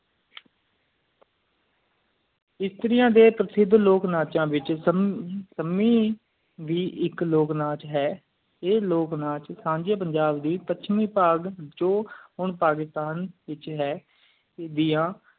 ਐਸਤਾਰਯਾ ਡੇ ਪ੍ਰਸਿਸਚ ਲੋਕ ਨਾਚ ਵਿਚ ਸਾਮੀ ਵੀ ਐਕ ਲੋਕ ਨਾਚ ਹੈ ਆ ਲੋ ਮੱਚ ਸਾਂਝੀ ਪੰਜਾਬ ਦੀ ਪਾਂਚਵੀ ਪੱਗ ਜੁ ਹੁਣ ਪਾਕਿਸਤਾਨ ਵਿਚ ਹੈ ਦੀਆ